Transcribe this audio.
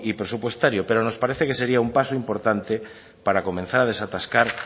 presupuestario pero nos parece que sería un paso importante para comenzar a desatascar